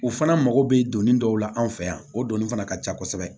U fana mago bɛ donni dɔw la an fɛ yan o donni fana ka ca kosɛbɛ